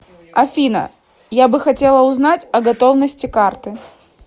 афина я бы хотела узнать о готовности карты